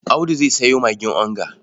Audu zai sayo magin onga.